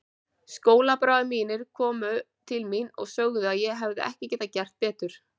Skólabræður mínir komu til mín og sögðu að ég hefði ekki getað betur gert.